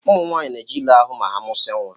Ụmụ nwanyị na eje ile ahụ ma ha musia nwa.